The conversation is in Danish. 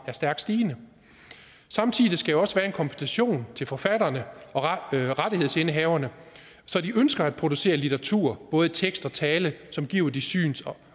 er stærkt stigende samtidig skal der også være en kompensation til forfatterne og rettighedsindehaverne så de ønsker at producere litteratur både i tekst og tale som giver de syns